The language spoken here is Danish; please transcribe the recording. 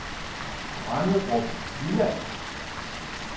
Branderup Jylland